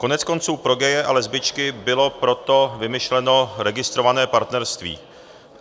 Koneckonců pro gaye a lesbičky bylo proto vymyšleno registrované partnerství.